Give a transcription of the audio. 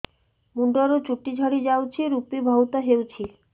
ମୁଣ୍ଡରୁ ଚୁଟି ଝଡି ଯାଉଛି ଋପି ବହୁତ ହେଉଛି